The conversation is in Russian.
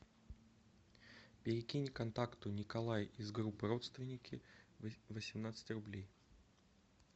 перекинь контакту николай из группы родственники восемнадцать рублей